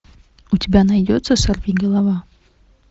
у тебя найдется сорвиголова